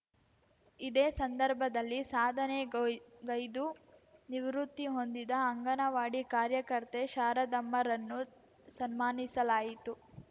ಇದೇ ಸಂದರ್ಭದಲ್ಲಿ ಸಾಧನೆಗ್ ಗೈದು ನಿವೃತ್ತಿ ಹೊಂದಿದ ಅಂಗನವಾಡಿ ಕಾರ್ಯಕರ್ತೆ ಶಾರದಮ್ಮರನ್ನು ಸನ್ಮಾನಿಸಲಾಯಿತು